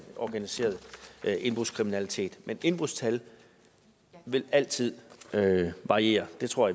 organiserede indbrudskriminalitet men indbrudstal vil altid variere det tror